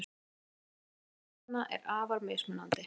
Fjarlægðin til stjarnanna er afar mismunandi.